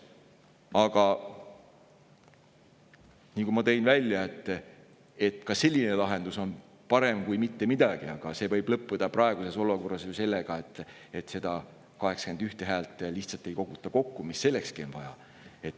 Aga nagu ma välja tõin, ka selline lahendus on parem kui mitte midagi, kuid see võib lõppeda praeguses olukorras ju sellega, et lihtsalt ei koguta kokku neid 81 häält, mida sellekski vaja on.